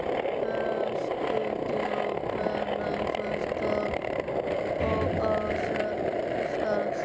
Höskuldur: Og hvenær fórstu af stað?